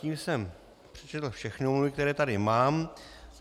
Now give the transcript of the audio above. Tím jsem přečetl všechny omluvy, které tady mám.